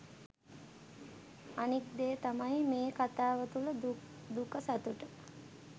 අනික් දේ තමයි මේ කතාව තුල දුක සතුට